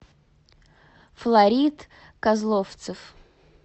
флорид козловцев